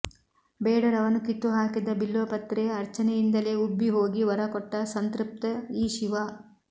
ಬೇಡರವನು ಕಿತ್ತುಹಾಕಿದ ಬಿಲ್ವ ಪತ್ರೆಯ ಅರ್ಚನೆಯಿಂದಲೇ ಉಬ್ಬಿ ಹೋಗಿ ವರ ಕೊಟ್ಟ ಸಂತೃಪ್ತ ಈ ಶಿವ